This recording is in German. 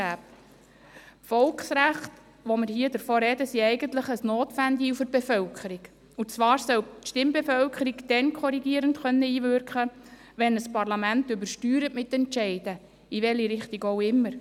Die Volksrechte, von denen wir hier sprechen, sind eigentlich ein Notventil für die Bevölkerung, und zwar soll die Stimmbevölkerung dann korrigierend einwirken können, wenn ein Parlament mit Entscheidungen übersteuert, in welche Richtung auch immer.